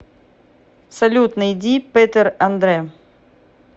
салют найди пэтэр андрэ